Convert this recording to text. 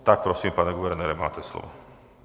Tak prosím, pane guvernére, máte slovo.